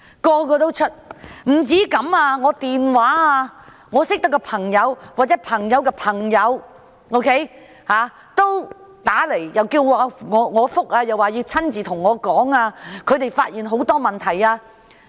不單如此，我認識的朋友或朋友的朋友均致電給我，表示要我回覆，要親自與我傾談，因為他們發現很多問題。